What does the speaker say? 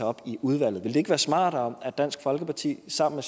op i udvalget ville det ikke være smartere at dansk folkeparti sammen